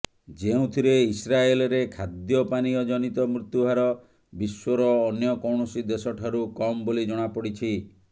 ଯେଉଁଥିରେ ଇସ୍ରାଏଲରେ ଖାଦ୍ୟପାନୀୟ ଜନିତ ମୃତ୍ୟୁ ହାର ବିଶ୍ୱର ଅନ୍ୟ କୌଣସି ଦେଶଠାରୁ କମ୍ ବୋଲି ଜଣାପଡିଛି